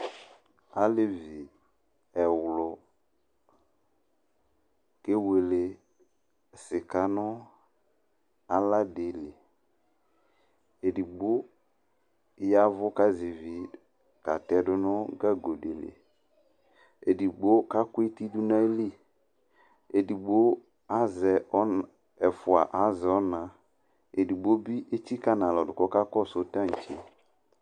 Aalevi ɛwlu k'ewuele sika nʋ alaa ɖiliƐdigbo, yaa ɛvu k'azɛ ivi k'atɛɖʋ nʋ gagoɖiliƐɖigbo k'akʋ eti ɖʋ n'ayili, ɛdigbo azɛ ɔna, ɛfua azɛ ɔnaEɖigboɖibi atsika nʋ alɔɖʋ k'akasʋ tantse'